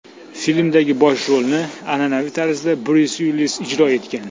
Filmdagi bosh rolni, an’anaviy tarzda, Bryus Uillis ijro etgan.